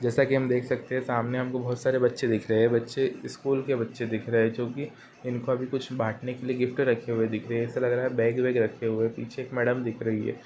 जैसा की हम देख सकते है सामने हमको बहुत सारे बच्चे दिख रहें हैं बच्चे स्कूल के बच्चे दिख रहें हैं जोकि इनको अभी कुछ बाँटने ने के लिए गिफ्ट रखे हुए दिख रहें हैं ऐसा लग रहा है बैग वैग रखे हुए है पीछे एक मैडम दिख रही हैं।